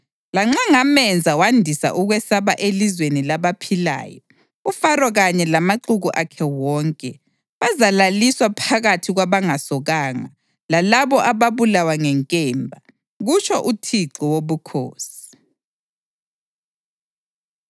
Lanxa ngamenza wandisa ukwesaba elizweni labaphilayo, uFaro kanye lamaxuku akhe wonke, bazalaliswa phakathi kwabangasokanga, lalabo ababulawa ngenkemba, kutsho uThixo Wobukhosi.”